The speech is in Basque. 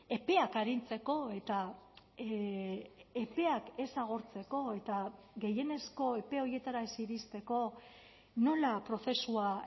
epeak arintzeko eta epeak ez agortzeko eta gehienezko epe horietara ez iristeko nola prozesua